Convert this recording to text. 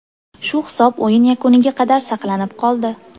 Shu hisob o‘yin yakuniga qadar saqlanib qoldi.